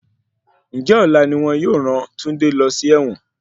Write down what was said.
Ǹjẹ́ ọ̀la ni wọn yóò ràn Túndé lọ sí ẹ̀wọ̀n?